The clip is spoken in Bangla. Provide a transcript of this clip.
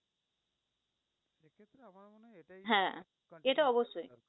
হ্যাঁ, এটা অবশ্যই।